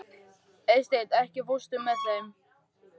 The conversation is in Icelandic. Eysteinn, ekki fórstu með þeim?